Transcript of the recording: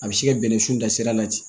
A bɛ se ka bɛnnɛ sun da sira la ten